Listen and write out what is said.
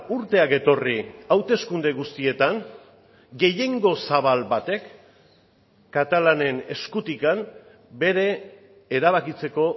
urteak etorri hauteskunde guztietan gehiengo zabal batek katalanen eskutik bere erabakitzeko